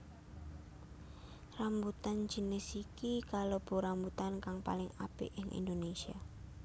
Rambutan jinis iki kalebu rambutan kang paling apik ing Indonésia